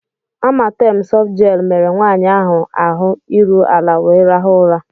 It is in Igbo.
Amatem softgel mere nwanyị ahụ ahụ iru ala wee rahụ ụra.